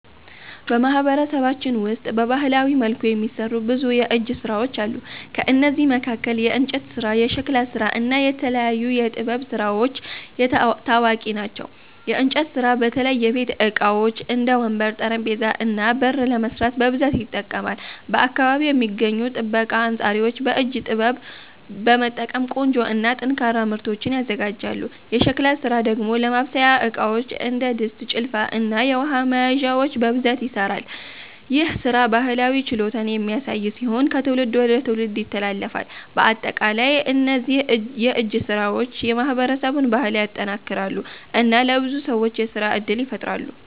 በማህበረሰባችን ውስጥ በባህላዊ መልኩ የሚሠሩ ብዙ የእጅ ሥራዎች አሉ። ከእነዚህ መካከል የእንጨት ስራ፣ የሸክላ ስራ እና የተለያዩ የጥበብ ስራዎች ታዋቂ ናቸው። የእንጨት ስራ በተለይ የቤት ዕቃዎች እንደ ወንበር፣ ጠረጴዛ እና በር ለመስራት በብዛት ይጠቀማል። በአካባቢው የሚገኙ ጠበቃ አንጻሪዎች በእጅ ጥበብ በመጠቀም ቆንጆ እና ጠንካራ ምርቶችን ያዘጋጃሉ። የሸክላ ስራ ደግሞ ለማብሰያ ዕቃዎች እንደ ድስት፣ ጭልፋ እና የውሃ መያዣዎች በብዛት ይሠራል። ይህ ሥራ ባህላዊ ችሎታን የሚያሳይ ሲሆን ከትውልድ ወደ ትውልድ ይተላለፋል። በአጠቃላይ እነዚህ የእጅ ሥራዎች የማህበረሰቡን ባህል ያጠናክራሉ እና ለብዙ ሰዎች የሥራ እድል ይፈጥራሉ።